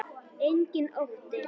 Enginn ótti.